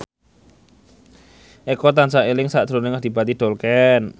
Eko tansah eling sakjroning Adipati Dolken